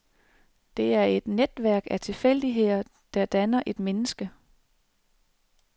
Det er et netværk af tilfældigheder, der danner et menneske.